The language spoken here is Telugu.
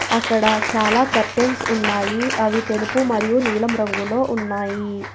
అక్కడ చాలా కర్టైన్స్ ఉన్నాయి అవి తెలుపు మరియు నీలం రంగులో ఉన్నాయి.